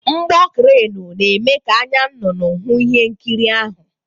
Mgbọ kranu na-eme ka anya nnụnụ hụ ihe nkiri ahụ.